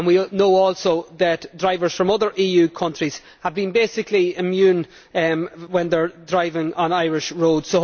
We know also that drivers from other EU countries have been basically immune when they are driving on Irish roads.